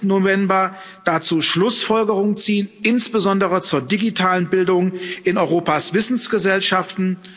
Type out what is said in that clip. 30. November dazu Schlussfolgerungen ziehen, insbesondere zur digitalen Bildung in Europas Wissensgesellschaften.